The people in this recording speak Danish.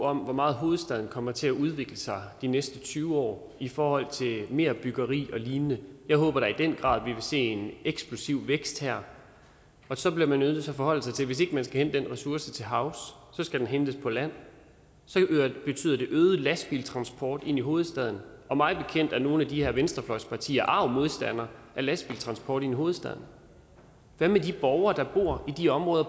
om hvor meget hovedstaden kommer til at udvikle sig de næste tyve år i forhold til mere byggeri og lignende jeg håber da i den grad vi vil se en eksplosiv vækst her så bliver man nødt til at forholde sig til at hvis ikke man skal hente den ressource til havs skal den hentes på land så betyder det øget lastbiltransport ind i hovedstaden og mig bekendt er nogle af de her venstrefløjspartier arge modstandere af lastbiltransport i hovedstaden hvad med de borgere der bor i de områder